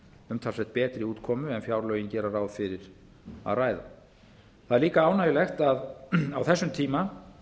umtalsvert betri útkomu en fjárlögin gera ráð fyrir það er líka ánægjulegt að á þessum tíma